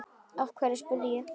Af hverju? spurði ég.